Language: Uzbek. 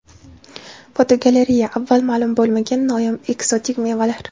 Fotogalereya: Avval ma’lum bo‘lmagan noyob ekzotik mevalar.